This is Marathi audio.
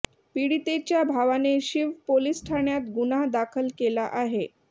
पीडितेच्या भावाने शिव पोलीस ठाण्यात गुन्हा दाखल केला आहे